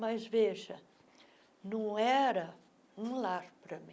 Mas, veja, não era um lar para mim.